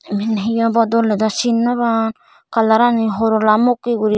iban he obo doley daw sin no pang colorani horola mokkey guri.